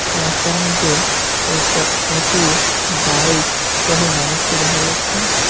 রাস্তার মধ্যে কয়েকটা অটো বাইক সহ মানুষকে দেখা যাচ্ছে।